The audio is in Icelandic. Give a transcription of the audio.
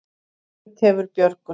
Veður tefur björgun.